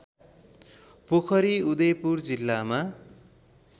पोखरी उदयपुर जिल्लामा